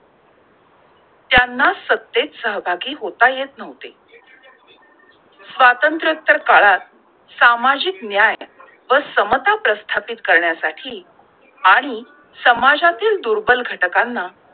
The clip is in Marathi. त्यांना सत्तेत सहभागी होता येत न्हवते! स्वातंत्र्यता काळात सामाजिक न्याय व समता प्रस्थापित करण्या साठी आणि समाजातील दुर्बल घटकांना